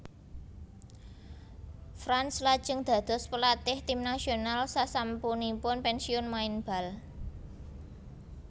Franz lajeng dados pelatih tim nasional sasampunipun pensiun main bal